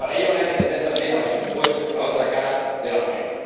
Para ello habrá que atender también a los impuestos, la otra cara de la moneda.